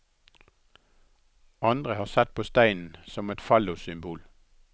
Andre har sett på steinen som et fallossymbol.